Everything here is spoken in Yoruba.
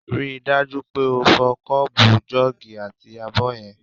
Rí i dájú pé o fọ kọ́ọ̀bù, jọ́ọ̀gì àti abọ́ yẹn!